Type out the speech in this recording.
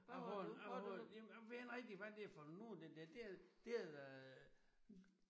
Jeg har en jeg har jamen jeg ved ikke rigtig hvad det er for noget den der. Det er det er da